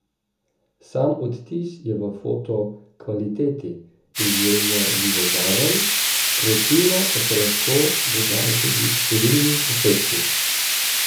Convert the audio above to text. Sam odtis je v foto kvaliteti, izjemno živobarven, kreativno pa se lahko dodajo tudi številni efekti.